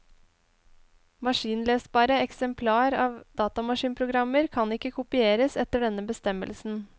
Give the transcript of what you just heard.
Maskinlesbare eksemplar av datamaskinprogrammer kan ikke kopieres etter denne bestemmelsen.